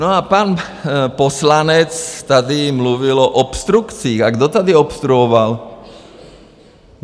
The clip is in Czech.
No a pan poslanec tady mluvil o obstrukcích a kdo tady obstruoval?